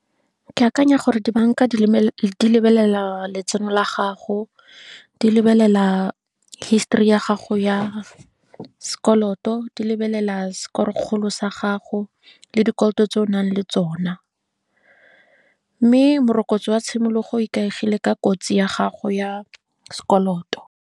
Ke akanya gore dibanka di lebelela letseno la gago, di lebelela histori ya gago ya sekoloto, di lebelela score kgolo sa gago, le dikoloto tse o nang le tsona. Mme morokotso wa tshimologo o ikaegile ka kotsi ya gago ya sekoloto.